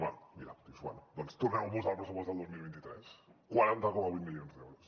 bé mira dius bé doncs tornem ho a posar al pressupost del dos mil vint tres quaranta coma vuit milions d’euros